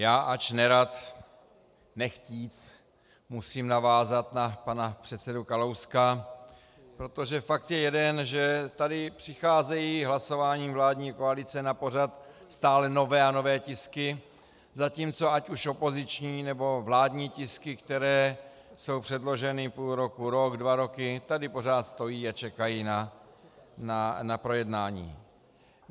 Já, ač nerad, nechtě, musím navázat na pana předsedu Kalouska, protože fakt je jeden, že tady přicházejí hlasováním vládní koalice na pořad stále nové a nové tisky, zatímco ať už opoziční, nebo vládní tisky, které jsou předloženy půl roku, rok, dva roky tady pořád stojí a čekají na projednání.